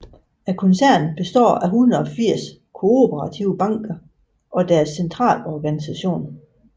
Koncernen består af 180 kooperative banker og deres centralorganisation